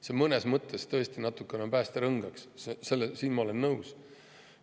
See mõnes mõttes on tõesti natukene päästerõngas, ma olen nõus.